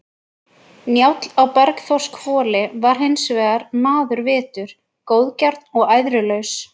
Njáll á Bergþórshvoli var hins vegar maður vitur, góðgjarn og æðrulaus.